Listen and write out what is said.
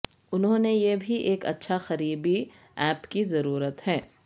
انہوں نے یہ بھی ایک اچھا قریبی اپ کی ضرورت ہے